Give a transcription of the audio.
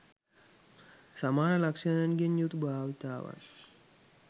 සමාන ලක්ෂණයන්ගෙන් යුතු භාවිතාවන්